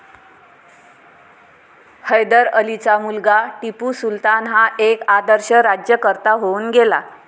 हैदर अलीचा मुलगा टिपू सुलतान हा एक आदर्श राज्यकर्ता होऊन गेला.